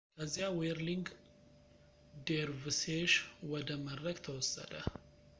ከዚያ ዌርሊንግ ዴርቭሴሽ ወደ መድረክ ተወሰደ